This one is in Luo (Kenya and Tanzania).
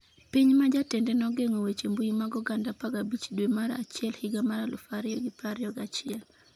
Piny ma jatende nogeng'o weche mbui mag oganda 15 dwe mar achiel higa mar 2021